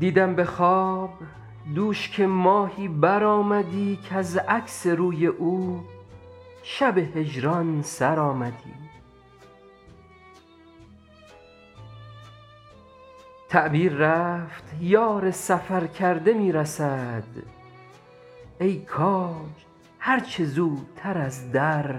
دیدم به خواب دوش که ماهی برآمدی کز عکس روی او شب هجران سر آمدی تعبیر رفت یار سفرکرده می رسد ای کاج هر چه زودتر از در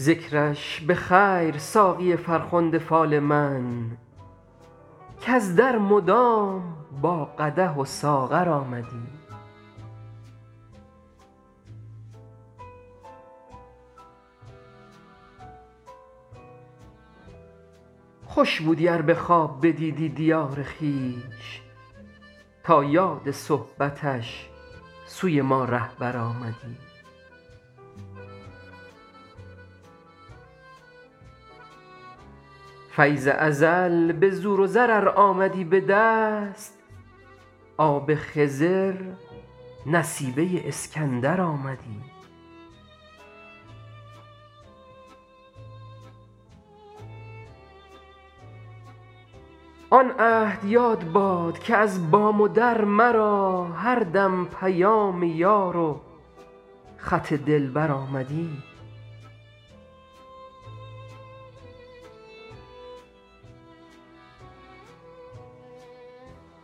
درآمدی ذکرش به خیر ساقی فرخنده فال من کز در مدام با قدح و ساغر آمدی خوش بودی ار به خواب بدیدی دیار خویش تا یاد صحبتش سوی ما رهبر آمدی فیض ازل به زور و زر ار آمدی به دست آب خضر نصیبه اسکندر آمدی آن عهد یاد باد که از بام و در مرا هر دم پیام یار و خط دلبر آمدی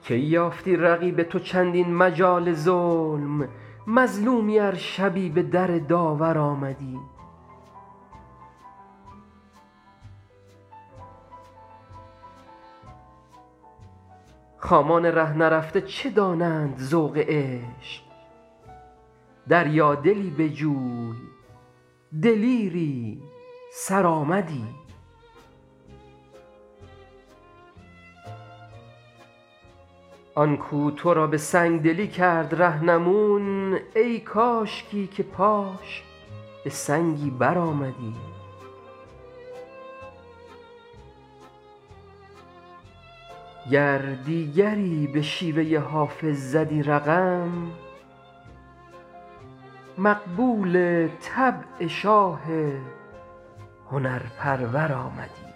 کی یافتی رقیب تو چندین مجال ظلم مظلومی ار شبی به در داور آمدی خامان ره نرفته چه دانند ذوق عشق دریادلی بجوی دلیری سرآمدی آن کو تو را به سنگ دلی کرد رهنمون ای کاشکی که پاش به سنگی برآمدی گر دیگری به شیوه حافظ زدی رقم مقبول طبع شاه هنرپرور آمدی